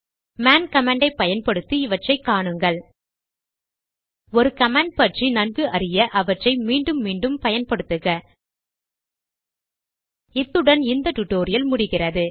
மேன்man command ஐ பயன்படுத்தி இவற்றை காணுங்கள் ஒரு கமாண்ட் பற்றி நன்கு அறிய அவற்றை மீண்டும் மீண்டும் பயன்படுத்துக இத்துடன் இந்த டுடோரியல் நிறைவு பெறுகிறது